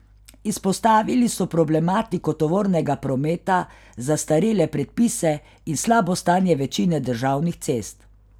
Izpostavili so problematiko tovornega prometa, zastarele predpise in slabo stanje večine državnih cest.